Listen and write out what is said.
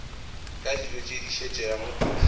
ka dijo tše di šetšego